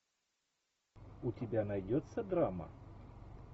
у тебя найдется драма